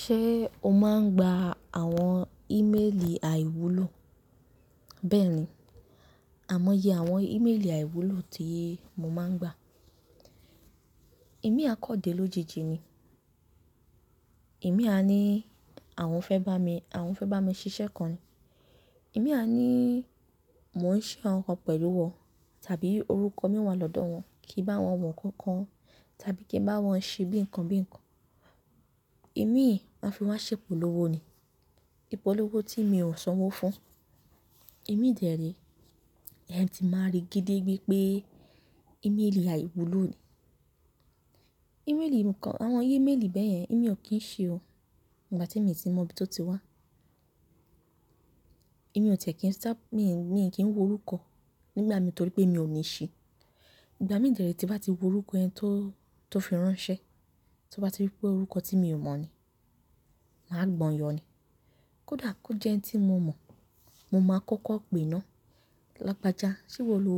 Ṣé o máa ń gba àwọn ìméèlì àìwúlò? Bẹ́ẹ̀ni, àmọ́yé àwọn ìméèlì àìwúlò tí mo máa ń gba. Ìmí à kan dé lójijì ni. Ìmí à ni àwọn fẹ́ bá mi, àwọn fẹ́ bá mi ṣiṣẹ́ kan ni. Ìmí à ni mò ń ṣe àwọn nǹkan pẹ̀lú wọn tàbí orúkọ mi wà lọ́dọ̀ wọn kí bá wọn wọ̀nkan kan tàbí kí bá wọn ṣe bí nǹkan bí nǹkan. Ìmíì máa fi wá ṣépòlówó ni. Ipolówó tí èmi ò sanwó fún. Ìmíì dẹ ré, ẹ́ ti máa rí gedegbé pé ìmélì àìwúlò ni. Ìméèlì nǹkan, àwọn ìmélì bẹ́yẹn èmi ò kí ń ṣi o, igbà tí mi ti mọ ibi tó ti wá. Èmi ò tẹ̀ kí ń sá mi ò kí ń wo orúkọ nígbà mi torí pé mi ò ní ṣi. Ìgbà mí dẹ ré tí n bá ti wo orúkọ ẹni tó fi ránṣẹ́, tí n bá ti rí pé orúkọ tí mi ò mọ̀ ni, màá gbọn yọ ni. Kódà kó jẹ́ ẹni tí mo mọ̀, mo máa kọkọ pè náà. Lágbaja, ṣé ìwọ lo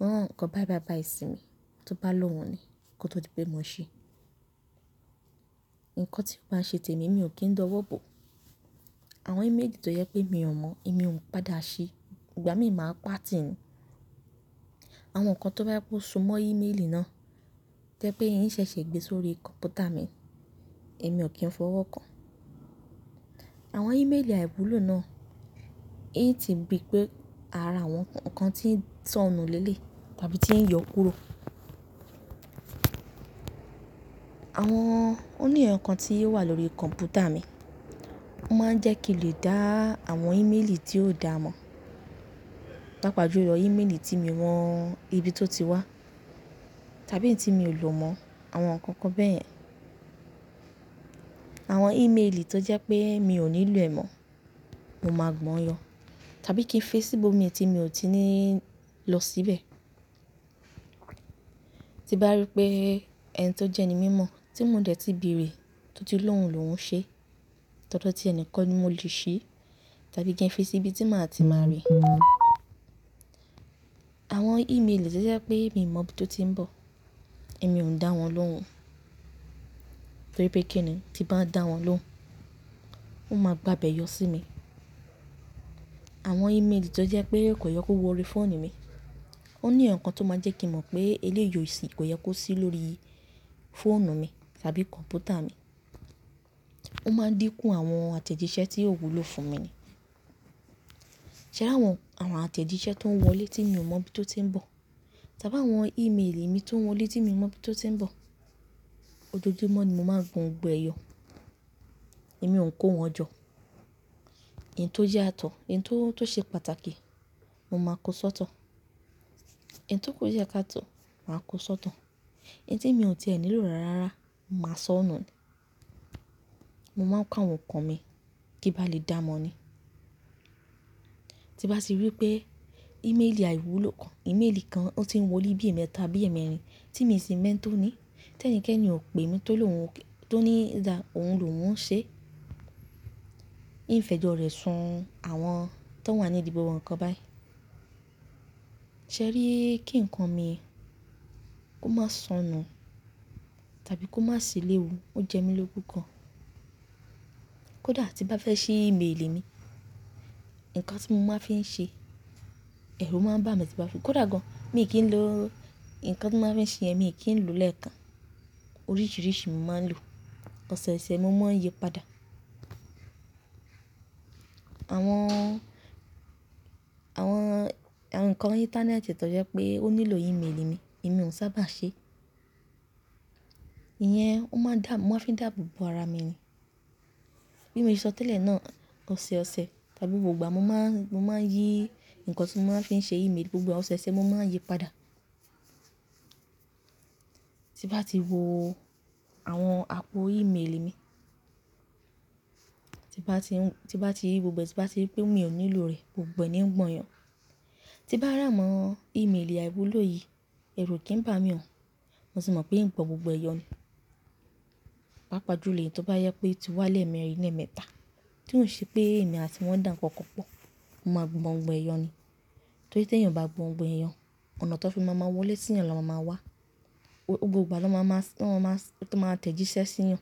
rán nǹkan báí báí báí sí mi? Tí ó bá lohun ni kó tó di pé mo ṣi. Nǹkan tí ó báa ń ṣe tèmi mi ò kí ń dọwọ́ bọ̀. Àwọn ìmélì tó jẹ pé mi ò mọ̀, èmi ò ń padà ṣi. Ìgbà mí máa pàtìì ni. Àwọn nǹkan tó bá jẹ pe o so mọ́ ìmélì náà to jẹ́ pé in ṣẹ̀ṣẹ̀ gbé sórí kọ̀ǹpútà mi, èmi ò kí ń fọwọ́ kàn. Àwọn ìmélì àìwúlò náà, in ti ri pé ara àwọn nǹkan tí ń sọnù léleyi tàbí tí ń yọ kúrò. Àwọn òní ẹrọ kan tí o wà lórí kọ̀ǹpútà mi, wọ́n máa ń jẹ́ kí lè dá àwọn ìmélì tí ò dá mọ̀. Pàápàá jù lọ, ìmélì tí mi o mọ ibi tó ti wá tàbí tí mi ò lò mọ̀, àwọn nǹkan kan bẹyẹn. Àwọn ìmélì tó jẹ́ pé mi ò nílò ẹ̀ mọ́, mo máa gbọn yọ tàbí kí n fi sí ibò mi tí mi ò ti ní lọ síbẹ̀. Tí bá rí pé ẹni tó jẹ́ ẹni mímọ́ tí mò dẹ tí béèrè tó ti lóun lòhun ṣe, tọ̀dọ tí ẹ nikan ni mo lè ṣi tàbí kí ń fi sí ibi tí màá ti máa rí. Àwọn ìmélì to jẹ́ pé mi mọ ibi tó ti ń bọ̀, èmi ò ń dá wọn lóun torí pé kí ni tí bá dá wọn lóun, wọ́n máa gba bẹ̀yọ sí mi. Àwọn ìmélì tó jẹ́ pé kò yẹ kó wọ orí fóònù mi, òní ẹ̀yàn kan tó máa jẹ́ kí mọ̀ pé eléyìí ò si kò yẹ kó sí lórí fóònù mi tàbí kọ̀ǹpútà mi. Ó máa dínkù àwọn àtẹ̀jíṣẹ́ tí yóò wúlò fún mi ni. Ṣé ráwọn àwọn àtẹ̀jíṣẹ́ tó ń wọlé tí mi ò mọ̀ bí tó ti ń bọ̀ tàbí àwọn ìmélì mi tó ń wọlé tí mi mọ̀ bí tó ti ń bọ̀, ojoojúmọ́ ni mo máa ń gbọ̀n gbogbo ẹ yọ. Èmi ò ń kó wọn jọ. Ìn tó yatọ̀, ìn tó ṣe pàtàkì, mo máa kó ṣótọ̀. Ìn to ku diẹ ká tọ̀, màá kó sọtọ. In tí mi ò ti ẹ̀ nílò rárá, màá sọ̀nù ni. Mo máa ń ka àwọn nǹkan mi kí bá lè dá mọ ni. Tí bá ti rí pé ìmélì àìwúlò kan, ìmélì kan ó ti ń wọlé bí ẹ̀ẹ̀mẹ́ta bí ẹ̀ẹ̀mẹ́rin tí mi n sì mọ́ ẹn tó ní, tí ẹnikẹ́ni ò pè mí tó lóhun tó ní dá òhun lòun ṣe, ìn fẹ́jọ́ rẹ̀ sun àwọn tó wà ní ìdí gbogbo nǹkan báyẹn. Ṣé rí kí nǹkan mi kó máa sọnù tàbí kó má sì léwu, ó jẹ́ mí ló kú gan. Kódà tí n bá fẹ́ ṣí ìmélì mi, nǹkan tí mo máa n fi ń ṣe, ẹ̀rù máa ń bà mí tí bá fún. Kọdà gan, mi ò kí ń lo nǹkan tí màá fi ṣi, mi i kí ń lo lẹẹkan. Oríṣiríṣi mo máa ń lo. Ọ̀sẹ̀ẹ̀sẹ̀ mo máa ń yípadà. Àwọn, àwọn, àwọn nǹkan orí íńtánẹ́ẹ̀tì tó jẹ́ pé ó nílò ìmélì mi, èmi ò sábà ṣe. Iyẹn, ó máa ń dá, mo máa fi dáàbò bò ara mi ni. Bí mo ṣe sọ tẹ́lẹ̀ náà, ọ̀sẹ̀ẹ̀sẹ̀ tàbí gbogbo ìgbà mo máa ń, mo máa ń yí nǹkan tí mo máa fi ṣe ìmélì gbogbo ọ̀sẹ̀ẹ̀sẹ̀ mo máa ń yípadà. Tí bá ti wo àwọn àpò ìmélì mi, tí bá ti, tí bá ti rí gbogbo ẹ, tí bá ti rí pé mi ò nílò rẹ̀ gbogbo ẹ ni ń gbọ̀n yọ. Tí bá ràmọ̀ ìmélì àìwúlò yìí, ẹ̀rù o kì í bà mí o. Mo sì mọ̀ pé ín gbọn gbogbo ẹ yọ ni. Pàápàá jù lọ, èyí tó bá jẹ pé o ti wá lẹ́ẹ̀mẹrin bí ẹ̀ẹ̀mẹ́ta tí ò ṣe pé èmi àti wọn dàǹkankan pọ̀, mo máa gbọ̀n gbogbo ẹ yọ ni. Torí tí èèyàn ò bá gbọ̀n gbogbo ẹ yọ, ọ̀nà tán fi máa máa wọlé sí yàn na máa máa wá. Gbogbo igba na máa máa, ló máa máa tẹ̀jíṣẹ́ sí yàn.